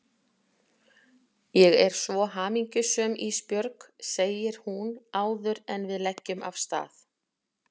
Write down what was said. Ég er svo hamingjusöm Ísbjörg, segir hún áður en við leggjum af stað.